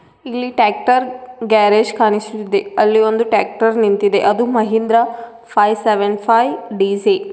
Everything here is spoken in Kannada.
ಇಲ್ಲಿ ಟ್ರ್ಯಾಕ್ಟರ್ ಗ್ಯಾರೇಜ್ ಕಾಣಿಸುತ್ತಿದೆ ಅಲ್ಲಿ ಒಂದು ಟ್ರ್ಯಾಕ್ಟರ್ ನಿಂತಿದೆ ಅದು Mahindra five seven five D C .